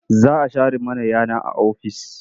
Za a share mana yana a ofis.